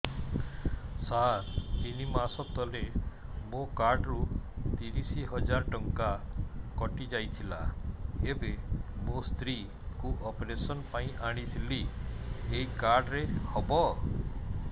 ସାର ତିନି ମାସ ତଳେ ମୋ କାର୍ଡ ରୁ ତିରିଶ ହଜାର ଟଙ୍କା କଟିଯାଇଥିଲା ଏବେ ମୋ ସ୍ତ୍ରୀ କୁ ଅପେରସନ ପାଇଁ ଆଣିଥିଲି ଏଇ କାର୍ଡ ରେ ହବ